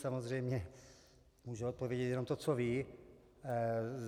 Samozřejmě může odpovědět jenom to, co ví.